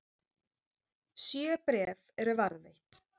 Sjö bréf eru varðveitt.